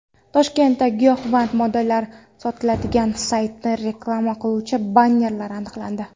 Toshkentda giyohvand moddalar sotiladigan saytni reklama qiluvchi bannerlar aniqlandi .